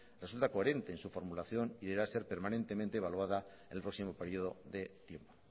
resulta coherente en su formulación y deberá ser permanentemente evaluada el próximo periodo de tiempo